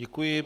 Děkuji.